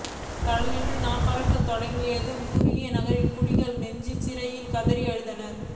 தழலெழுந்து நாபறக்கத் தொடங்கியதும் குருநகரின் குடிகள் நெஞ்சிலறைந்து கதறி அழுதனர்